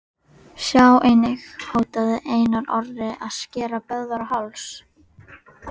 Sjá einnig: Hótaði Einar Orri að skera Böðvar á háls?